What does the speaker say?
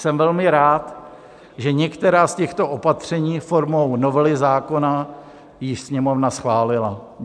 Jsem velmi rád, že některá z těchto opatření formou novely zákona již Sněmovna schválila.